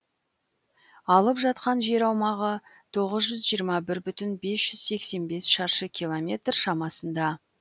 алып жатқан жер аумағы тоғыз жүз жиырма бір бүтін бес жүз сексен бес шаршы километр шамасында